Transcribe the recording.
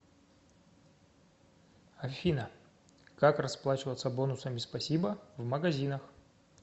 афина как расплачиваться бонусами спасибо в магазинах